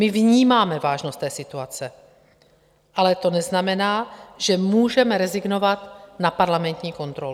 My vnímáme vážnost té situace, ale to neznamená, že můžeme rezignovat na parlamentní kontrolu.